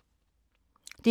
DR1